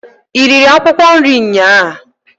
I riri akwụkwọ nri nnyaa?